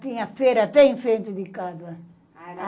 Tinha feira até em frente de casa.